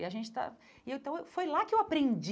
E a gente está e então foi lá que eu aprendi.